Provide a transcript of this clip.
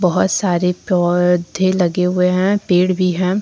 बहुत सारे पौधे लगे हुए हैं पेड़ भी हैं।